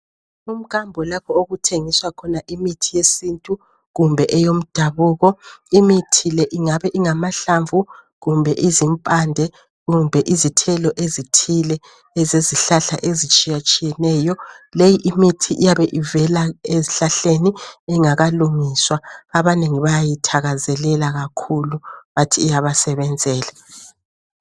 Umkambo lapho okuthengiswa khona imithi yesintu kumbe eyomdabuko, imithi le ingaba ngamhlamvu, kumbe izimoande kumbe izithelo ezithile ezezihlahla ezitshiyetshiyeneyo leyi imithi iyabe icela ezihlahleni ingakalungiswa abanengi bayayithakazelela kakhulu bathi iyabasebenzela.